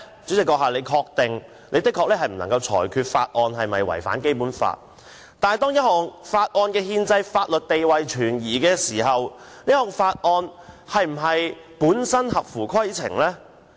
主席的確不能裁決法案是否違反《基本法》，但當一項法案的憲制法律地位存疑時，這項法案本身是否合乎規程呢？